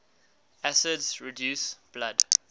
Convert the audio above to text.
acids reduce blood